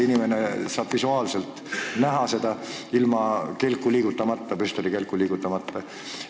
Inimene saab seda näha ilma püstolikelku liigutamata.